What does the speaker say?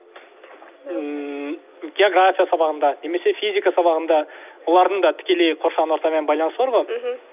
ммм география сабағында немесе физика сабағында олардың да тікелей қоршаған ортамен байланысы бар ғой мхм